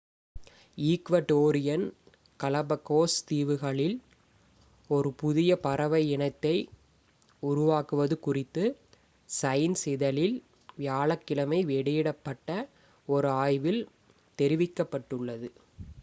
Ecuadorian Galapagos தீவுகளில் ஒரு புதிய பறவை இனத்தை உருவாக்குவது குறித்து சைன்ஸ் இதழில் வியாழக்கிழமை வெளியிடப்பட்ட ஒரு ஆய்வில் தெரிவிக்கப்பட்டுள்ளது